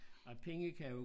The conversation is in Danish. Ej penge kan jo